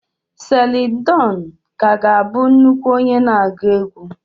Celine dion ka ga-abụ nnukwu onye na-agụ egwú.